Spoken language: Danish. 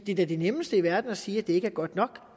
det er da det nemmeste i verden at sige at det ikke er godt nok